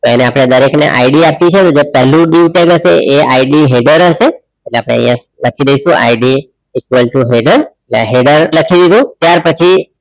એને આપણે દરેકને ID આપીશું અને જે પહેલું dieu tag હશે એ IDheader હશે અને આપણે લખી દઈશું IDequal to header header લખી દીધુ. ત્યારપછી